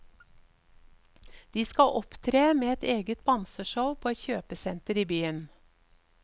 De skal opptre med et eget bamseshow på et kjøpesenter i byen.